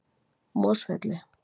Mosfelli